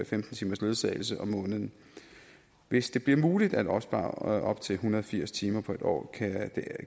femten timers ledsagelse om måneden hvis det bliver muligt at opspare op til en hundrede og firs timer på en år